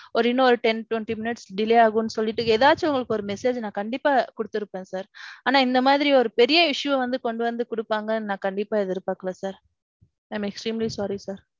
ஓரு இன்னொரு ten twenty minutes delay ஆகும்னு சொல்லுட்டு ஏதாச்சும் உங்களுக்கு ஒரு message நான் கண்டிப்பா கொடுத்திருப்பேன் sir. ஆனா இந்த மாதிரி ஒரு பெரிய issue வந்து கொண்டுவந்து குடுத்திருவாங்கனு நான் கண்டிப்பா எதிர் பாக்கலே sir. I am extremely sorry sir.